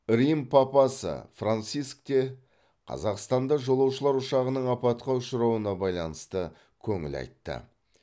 рим папасы франциск те қазақстанда жолаушылар ұшағының апатқа ұшырауына байланысты көңіл айтты